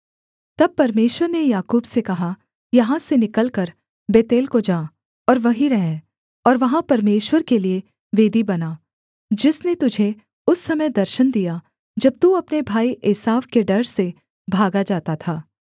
तब परमेश्वर ने याकूब से कहा यहाँ से निकलकर बेतेल को जा और वहीं रह और वहाँ परमेश्वर के लिये वेदी बना जिसने तुझे उस समय दर्शन दिया जब तू अपने भाई एसाव के डर से भागा जाता था